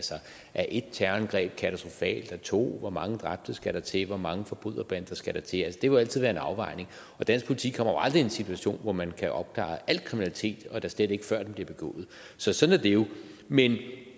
er ét terrorangreb katastrofalt er to hvor mange dræbte skal der til hvor mange forbryderbander skal der til jo altid være en afvejning og dansk politi kommer jo aldrig i en situation hvor man kan opklare al kriminalitet og da slet ikke før den bliver begået så sådan er det jo men det